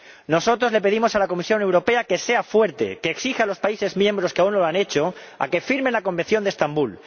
Nosotros le pedimos a la Comisión Europea que sea fuerte, que exija a los países miembros que aún no lo han hecho que firmen el Convenio de Estambul.